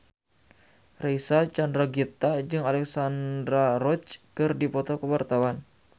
Reysa Chandragitta jeung Alexandra Roach keur dipoto ku wartawan